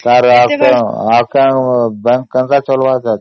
ତେବେ bank ଚାଲିବ କେମିତି ନହେଲେ